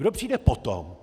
Kdo přijde potom?